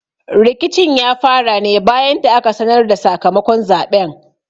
Rikicin ya fara ne bayan da aka sanar da sakamakon zaɓen.